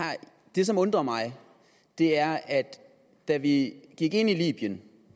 det som undrer mig er at da vi gik ind i libyen